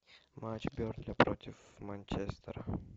матч бернли против манчестера